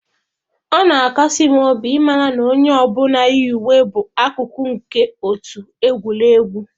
Ọ na-akasi m obi ịmara na onye ọ bụla yi uwe bụ akụkụ nke otu egwuregwu.